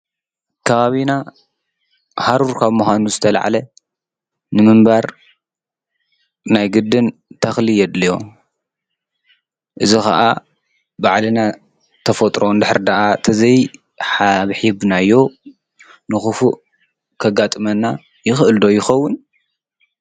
ካባቢና ሃሩር ካብ ምካኑ ዝተልዕለ ንምንባር ናይ ግድን ተኽል የድል እዮ። እዚ ኸዓ ባዕልና ተፈጥሮን ድሕሪ ድኣ ተዘይሓብሒብናዮ ንኽፉእ ኸጋጥመና ይኽእል ዶ ይኸውን?